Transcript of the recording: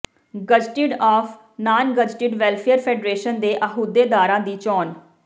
gazetted and non gazetted welfare federation ਦੇ ਅਹੁਦੇਦਾਰਾਂ ਦੀ ਚੋਣ